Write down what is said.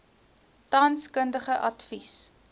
tans kundige advies